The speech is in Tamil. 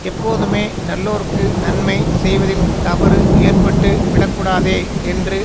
எப்போதுமே நல்லோர்க்கு நன்மை செய்வதில் தவறு ஏற்பட்டுவிடக் கூடாதே என்று